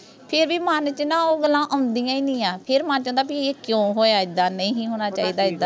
ਫੇਰ ਵੀ ਮਨ ਚ ਓਹ ਗੱਲਾਂ ਆਉਂਦੀਆਂ ਹੀ ਨਹੀਂ ਆ ਫੇਰ ਮਨ ਚ ਆਉਂਦਾ ਬੀ ਇਹ ਕਿਓਂ ਹੋਇਆ ਐਦਾਂ ਨਹੀਂ ਹੋਣਾਂ ਚਾਹੀਦਾ ਐਦਾਂ